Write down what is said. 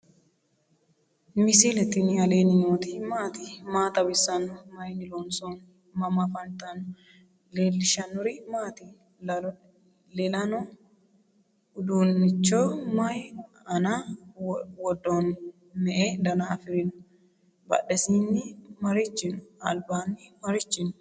misile tini alenni nooti maati? maa xawissanno? Maayinni loonisoonni? mama affanttanno? leelishanori maati? lelano udunicho mayi ana wodoni?me"e danna afirino? badhesini marichi no?albaaini marichi no?